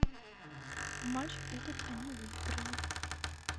матч этот они выиграли